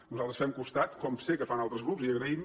nosaltres els fem costat com sé que els en fan altres grups i ho agraïm